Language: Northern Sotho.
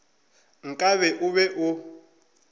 nka be o be o